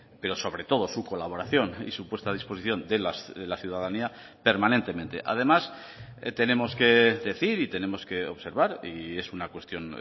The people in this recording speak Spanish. pero sobre todo su colaboración y su puesta a disposición de la ciudadanía permanentemente además tenemos que decir y tenemos que observar y es una cuestión